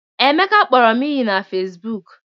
Emeka kpọrọ m iyi na Fesibuuku.